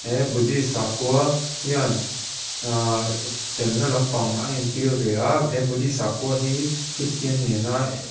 he buddhist sakhua hian uhh felna lampang a entir ve a he buddhist sakhua hi christian nena--